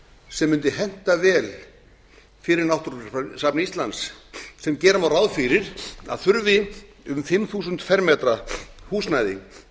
sem mundi henta vel fyrir náttúrugripasafn íslands sem gera má ráð fyrir að þurfi um fimm þúsund fermetra húsnæði